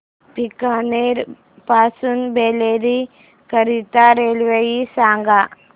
बीकानेर पासून बरेली करीता रेल्वे सांगा